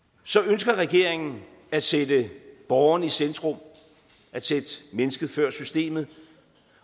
ønsker regeringen at sætte borgeren i centrum at sætte mennesket før systemet